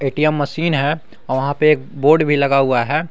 ATM machine है आ वहां पे एक बोर्ड भी लगा हुआ है।